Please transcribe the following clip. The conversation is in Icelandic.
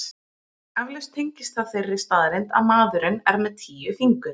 Eflaust tengist það þeirri staðreynd að maðurinn er með tíu fingur.